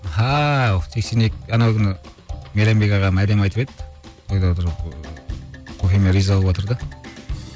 сексен екі анау күні мейрамбек ағам әдемі айтып еді тойда отырып ыыы көкеме риза болыватыр да